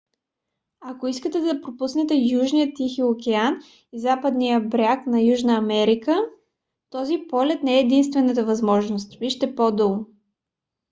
ако искате да пропуснете южния тихи океан и западния бряг на южна америка този полет не е единствената възможност. вижте по-долу